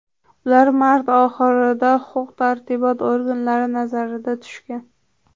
Ular mart oxirida huquq-tartibot organlari nazariga tushgan.